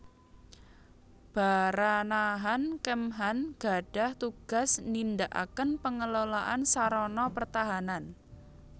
Baranahan Kemhan gadhah tugas nindakaken pengelolaan sarana pertahanan